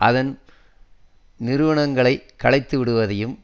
அதன் நிறுவனங்களை கலைத்து விடுவதையும்